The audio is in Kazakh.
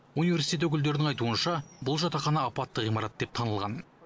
университет өкілдерінің айтуынша бұл жатақхана апатты ғимарат деп танылған